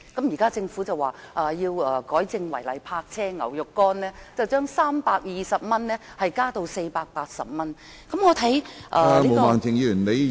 現時政府說要修改違例泊車罰款，由320元增加至480元。